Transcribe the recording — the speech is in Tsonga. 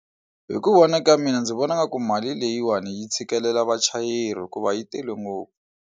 Hi ku vona ka mina ndzi vona nga ku mali leyiwani yi tshikelela vachayeri hikuva yi tele ngopfu.